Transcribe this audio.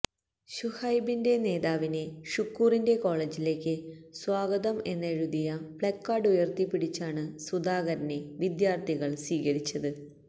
ശുഹൈബിന്റെ നേതാവിന് ഷുക്കൂറിന്റെ കോളജിലേക്ക് സ്വാഗതം എന്നെഴുതിയ പ്ലക്കാര്ഡ് ഉയര്ത്തിപിടിച്ചാണ് സുധാകരനെ വിദ്യാര്ഥികള് സ്വീകരിച്ചത്